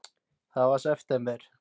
Það var í september.